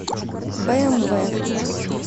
бээмвэ